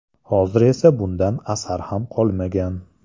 Hozir esa bundan asar ham qolmagan.